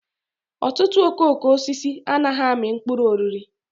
Ọtụtụ okooko osisi anaghị amị mkpụrụ oriri.